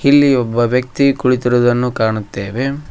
ಇಲ್ಲಿ ಒಬ್ಬ ವ್ಯಕ್ತಿ ಕುಳಿತಿರುವುದನ್ನು ಕಾಣುತ್ತೇವೆ.